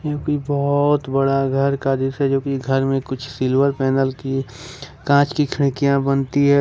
जो कि बहुत बड़ा घर का दृश्य है जोकि घर में कुछ सिल्वर पैनल की कांच की खिड़कियां बनती है।